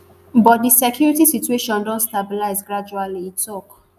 but di security situation don dey stabilize gradually e tok